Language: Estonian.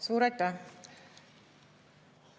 Suur aitäh!